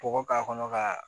Kɔgɔ k'a kɔnɔ ka